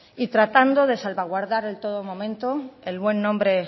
y tratando de salvaguardar en todo momento el buen nombre